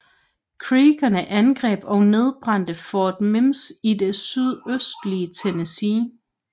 Creekerne angreb og nedbrændte Fort Mims i det sydøstlige Tennessee